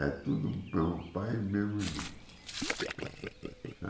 É tudo do mesmo pai e o mesmo irmão.